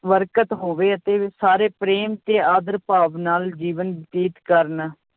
ਬਰਕਤ ਹੋਵੇ ਅਤੇ ਸਾਰੇ ਪ੍ਰੇਮ ਤੇ ਆਦਰ ਭਾਵ ਨਾਲ ਜੀਵਨ ਬਤੀਤ ਕਰਨ।